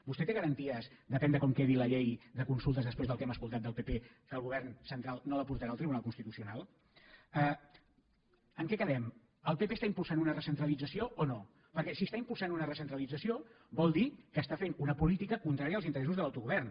vostè té garanties depèn de com quedi la llei de consultes després del que hem escoltat del pp que el govern central no la portarà al tribunal constitucional en què quedem el pp està impulsant una recentralització o no perquè si està impulsant una recentralització vol dir que està fent una política contrària als interessos de l’autogovern